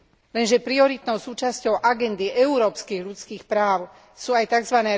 Lenže prioritnou súčasťou agendy európskych ľudských práv sú aj tzv.